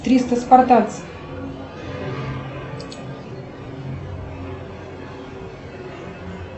триста спартанцев